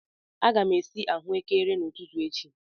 Aga m esi ahụekere n'ụtụtụ echi.